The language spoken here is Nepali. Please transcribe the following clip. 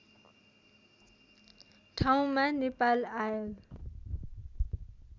ठाउँमा नेपाल आयल